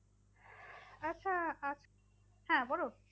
আচ্ছা হ্যাঁ বলুন।